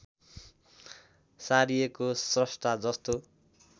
सारिएको श्रष्टा जस्तो